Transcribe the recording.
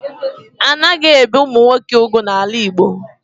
A na-ebe ụmụ nwoke ugwu n'ala Igbo